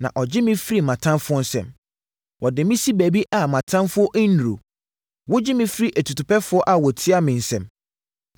na ɔgye me firi mʼatamfoɔ nsam. Wode me si baabi a mʼatamfoɔ nnuru, wogye me firi atutupɛfoɔ a wɔtia me nsam.